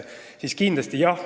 Jah, kindlasti.